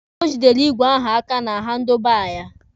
O jidere igwe ahụ aka na handụlụ baa ya.